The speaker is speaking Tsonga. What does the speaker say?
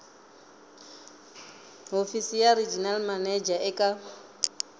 hofisi ya regional manager eka